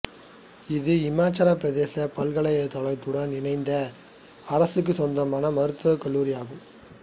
இது இமாச்சலப் பிரதேச பல்கலைக்கழகத்துடன் இணைந்த அரசுக்கு சொந்தமான மருத்துவக் கல்லூரி ஆகும்